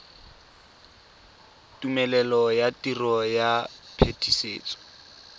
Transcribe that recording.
tumelelo ya tiro ya phetisetso